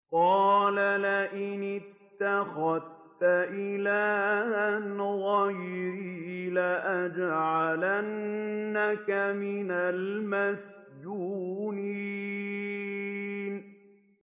قَالَ لَئِنِ اتَّخَذْتَ إِلَٰهًا غَيْرِي لَأَجْعَلَنَّكَ مِنَ الْمَسْجُونِينَ